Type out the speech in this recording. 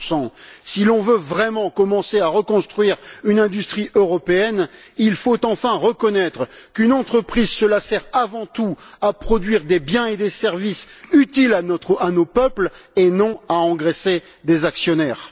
15 Si l'on veut vraiment commencer à reconstruire une industrie européenne, il faut enfin reconnaître qu'une entreprise sert, avant tout, à produire des biens et des services utiles à nos peuples et non à engraisser des actionnaires.